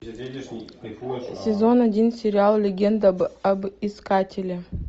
сезон один сериал легенда об искателе